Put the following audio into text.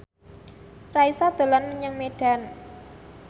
Raisa dolan menyang Medan